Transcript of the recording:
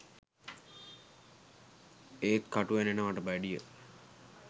ඒත් කටු ඇනෙනවට වැඩිය